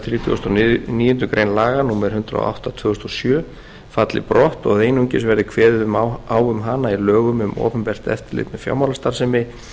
þrítugasta og níundu grein laga númer hundrað og átta tvö þúsund og sjö falli brott og að einungis verði kveðið á um hana í lögum um opinbert eftirlit með fjármálastarfsemi